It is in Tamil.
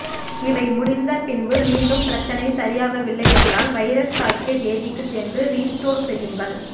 இவை முடிந்த பின்பு மீண்டும் பிரச்சனை சரியாகவில்லை என்றால் வைரஸ் தாக்கிய தேதிக்கு சென்று ரீஸ்டோர் செய்யுங்கள்